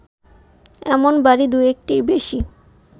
এমন বাড়ি দু-একটির বেশি